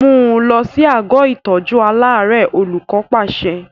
Mú un lọ sí àgọ́ ìtọ́jú aláàárẹ̀! Olùkọ́ pàṣẹ.